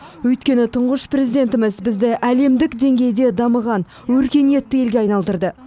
өйткені тұңғыш президентіміз бізді әлемдік деңгейде дамыған өркениетті елге айналдырды